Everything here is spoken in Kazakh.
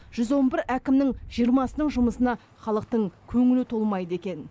жүз он бір әкімнің жиырмасының жұмысына халықтың көңілі толмайды екен